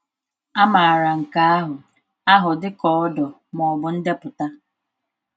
A maara nke ahụ ahụ dị ka ordo, ma ọ bụ ndepụta.